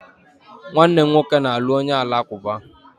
Nwanne m nwoke na-alụ onye Alakụba